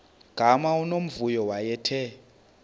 gama unomvuyo wayethe